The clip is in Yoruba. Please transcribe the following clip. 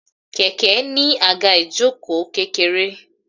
Kẹ̀kẹ́ ní àga ìjoko kékeré.